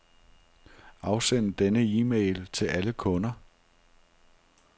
Afsend denne e-mail til alle kunder.